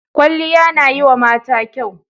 Kwalliya na yiwa mata kyau.